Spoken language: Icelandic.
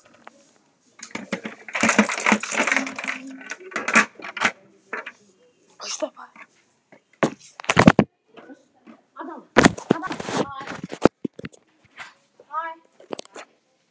Ekki að furða þótt Gerður finni til ábyrgðar.